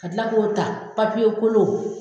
Ka kila k'o ta papiye kolon.